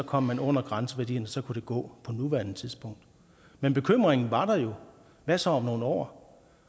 kom man under grænseværdierne og så kunne det gå på nuværende tidspunkt men bekymringen var der jo hvad så om nogle år